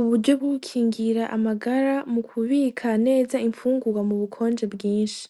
Uburyo bwo gukingira amagara mu kubika neza imfungugwa m'ubukonje bwinshi,